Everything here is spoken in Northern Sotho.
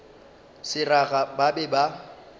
le seraga ba be ba